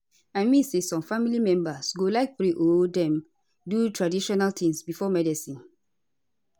i mean say some family members go like pray or dem do traditional tings before medicine